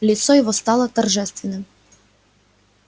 лицо его стало торжественным